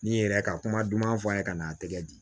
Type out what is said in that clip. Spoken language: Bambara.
Ni n yɛrɛ ka kuma duman fɔ a ye ka n'a tɛgɛ di